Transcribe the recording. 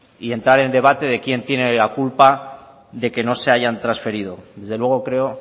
y entrar a debate de quien tiene la culpa de que no se hayan transferido desde luego creo